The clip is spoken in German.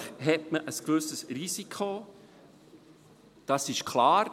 Natürlich hat man ein gewisses Risiko, das ist klar.